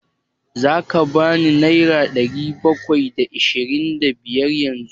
Za ka ban nera ɗari bakwai da ashirin da biyar yanzu?